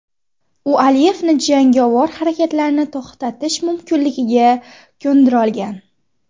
U Aliyevni jangovar harakatlarni to‘xtatish mumkinligiga ko‘ndira olgan.